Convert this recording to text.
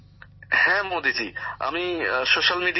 গ্যামর জীঃ হ্যাঁ মোদিজী আমি স্যোশাল মিডিয়াতে আক্টিভ